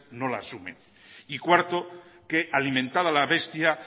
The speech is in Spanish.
no lo asumen y cuarto que alimentada la bestia